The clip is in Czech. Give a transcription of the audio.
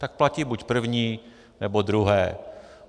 Tak platí buď první, nebo druhé.